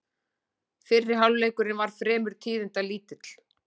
Fyrri hálfleikurinn var fremur tíðindalítill